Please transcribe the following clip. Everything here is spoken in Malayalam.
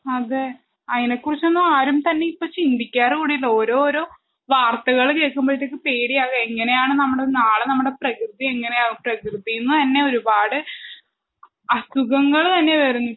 അതെ അയിനെ കുറിച്ചൊന്നും ആരും തന്നെ ഇപ്പൊ ചിന്തിക്കാറ് കൂടീല്ല ഓരോരോ വാർത്തകള് കേക്കുമ്പഴത്തേക്കും പേടിയാവ എങ്ങനെയാണ് നമ്മടെ നാളെ നമ്മടെ പ്രകൃതി എങ്ങനെയാവും പ്രകൃതീന്ന് തന്നെ ഒരുപാട് അസുഖങ്ങള് തന്നെ വരും